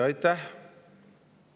Aitäh!